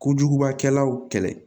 Kojugubakɛlaw kɛlɛ